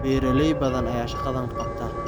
Beeraley badan ayaa shaqadan qabta.